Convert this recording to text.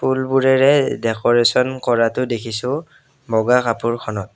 ফুলবোৰেৰে decoration কৰাতো দেখিছোঁ বগা কাপোৰখনত।